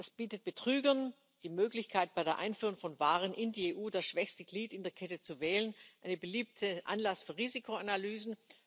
Das bietet Betrügern die Möglichkeit, bei der Einfuhr von Waren in die EU das schwächste Glied in der Kette zu wählen. Ein beliebter Anlass für Risikoanalysen.